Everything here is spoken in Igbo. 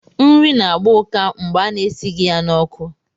Nri na-agba ụká mgbe ana-esighị ya n'ọkụ.